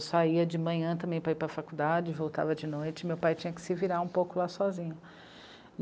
Eu saía de manhã também para ir para a faculdade, voltava de noite e meu pai tinha que se virar um pouco lá sozinho.